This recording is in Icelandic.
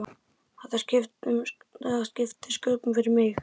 Það skipti sköpum fyrir mig.